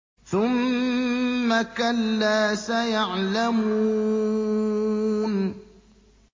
ثُمَّ كَلَّا سَيَعْلَمُونَ